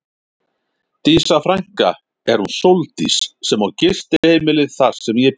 Dísa frænka er hún Sóldís sem á gistiheimilið þar sem ég bý.